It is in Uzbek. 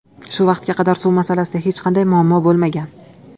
Shu vaqtga qadar suv masalasida hech qanday muammo bo‘lmagan.